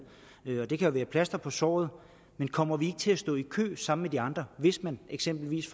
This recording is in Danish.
og det kan jo være et plaster på såret men kommer vi ikke til at stå i kø sammen med de andre hvis man eksempelvis